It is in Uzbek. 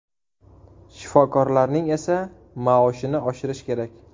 Shifokorlarning esa maoshini oshirish kerak”.